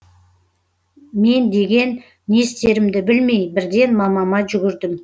мен деген не істерімді білмей бірден мамама жүгірдім